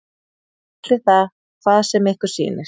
Kallið það hvað sem ykkur sýnist.